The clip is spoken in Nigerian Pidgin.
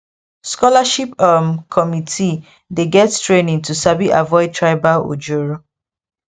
scholarship um committee dey get training to sabi avoid tribal ojoro